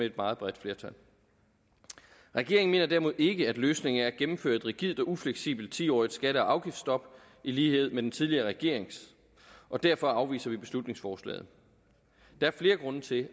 et meget bredt flertal regeringen mener derimod ikke at løsningen er at gennemføre et rigidt og ufleksibelt ti årig t skatte og afgiftsstop i lighed med den tidligere regerings og derfor afviser vi beslutningsforslaget der er flere grunde til